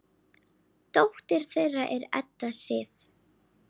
Dóttir þeirra er Edda Sif.